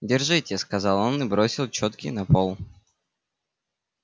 держите сказал он и бросил чётки на пол